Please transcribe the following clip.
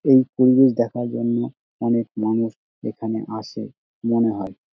এই পরিবেশ দেখার জন্য অনেক মানুষ এখানে আসে মনে হয় ।